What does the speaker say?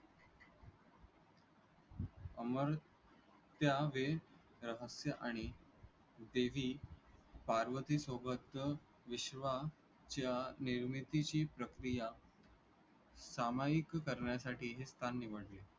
अमर रहस्य आणि देवी पार्वतीसोबतचं विश्वाच्या निर्मितीची प्रक्रिया सामायिक करण्यासाठी हे स्थान निवडले.